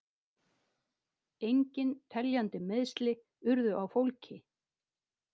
Engin teljandi meiðsli urðu á fólki